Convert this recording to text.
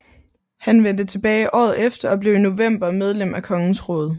Han vendte tilbage året efter og blev i november medlem af kongens råd